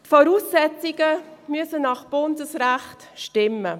Die Voraussetzungen müssen nach Bundesrecht stimmen.